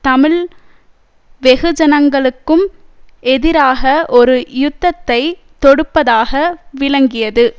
தமிழ் வெகுஜனங்களுக்கும் எதிராக ஒரு யுத்தத்தை தொடுப்பதாக விளங்கியது